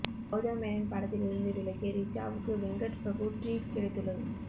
கௌதம் மேனன் படத்தில் இருந்து விலகிய ரிச்சாவுக்கு வெங்கட் பிரபு ட்ரீட் கிடைத்துள்ளது